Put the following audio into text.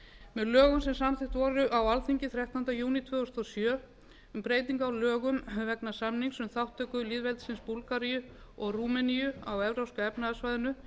með lögum sem samþykkt voru á alþingi þrettánda júní tvö þúsund og sjö um breyting á lögum vegna samnings um þátttöku lýðveldisins búlgaríu og rúmeníu á evrópska efnahagssvæðinu